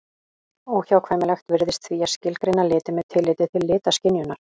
Óhjákvæmilegt virðist því að skilgreina liti með tilliti til litaskynjunar.